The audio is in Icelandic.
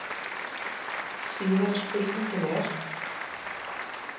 Síðari spurningin er